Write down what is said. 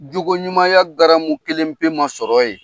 Jogoɲumaya garanmu kelen pe ma sɔrɔ yen.